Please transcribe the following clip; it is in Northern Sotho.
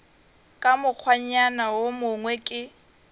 ka mokgwanyana wo mongwe ke